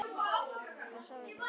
Ég er sár út í þig.